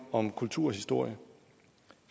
om kulturhistorie